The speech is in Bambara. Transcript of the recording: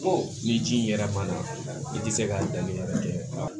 ni ji yɛrɛ ma na i tɛ se ka danni wɛrɛ kɛ